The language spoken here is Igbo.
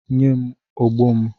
Nye m ogbo m!